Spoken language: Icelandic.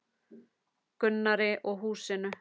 Gunnari og húsinu.